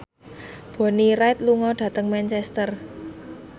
Bonnie Wright lunga dhateng Manchester